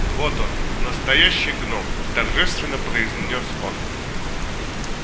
вот он настоящий гном торжественно произнёс он